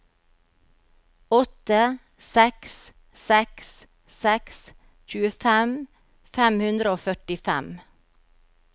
åtte seks seks seks tjuefem fem hundre og førtifem